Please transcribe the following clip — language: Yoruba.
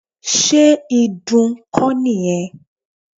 Ṣé ìdun kọ́ nìyẹn?